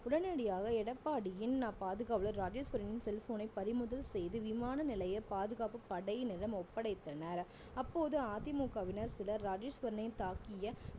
உடனடியாக எடப்பாடியின் அஹ் பாதுகாவலர் ராஜேஸ்வரனின் cell phone ஐ பறிமுதல் செய்து விமான நிலைய பாதுகாப்பு படையினரிடம் ஒப்படைத்தனர் அப்போது அதிமுகவினர் சிலர் ராஜேஸ்வரனை தாக்கிய